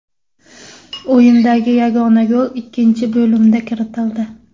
O‘yindagi yagona gol ikkinchi bo‘limda kiritildi.